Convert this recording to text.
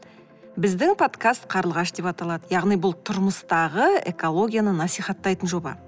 біздің подкаст қарлығаш деп аталады яғни бұл тұрмыстағы экологияны насихаттайтын жоба